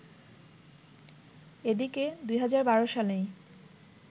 এদিকে, ২০১২ সালেই